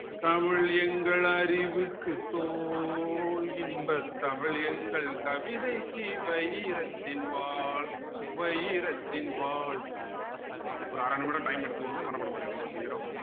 தமிழ் எங்கள் அறிவுக்கு தோல் இன்பத் தமிழ் எங்கள் கவிதைக்கு வைரத்தின் வாள் வைரத்தின் வாள் ஒரு அரை நிமிடம் time எடுத்துக்கோங்க மனப்பாடம் பண்ணிடுங்க சீக்கிரம்